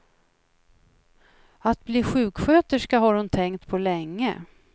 Att bli sjuksköterska har hon tänkt på länge.